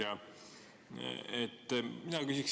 Hea ettekandja!